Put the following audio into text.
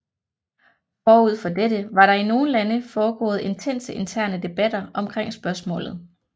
Forud for dette var der i nogle lande foregået intense interne debatter omkring spørgsmålet